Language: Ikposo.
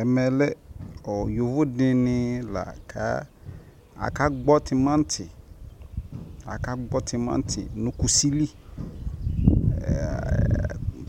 ɛmɛ lɛ yɔvɔ dini laka aka gbɔ tʋmanti, aka gbɔ tʋmanti nʋ kʋsi li,